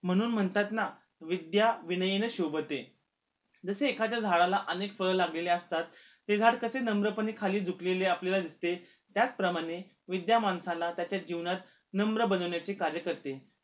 म्हणून म्हणतात ना, विध्या विनयने शोभते जसे एखाद्या झाडाला अनेक फळ लागलेली असतात ते झाड कसे नम्र पणे खाली झुकलेले आपल्याला दिसते त्याचप्रमाणे विद्या माणसाला त्याच्या जीवनात नम्र बनवण्याचे कार्य करते